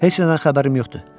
Heç nədən xəbərim yoxdur.